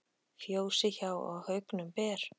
Fjósi hjá á haugnum ber.